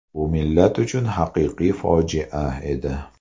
Bu millat uchun haqiqiy fojia edi.